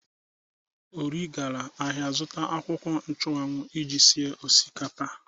Ori gara ahịa izụta akwụkwọ nchu anwu iji sie osikapa.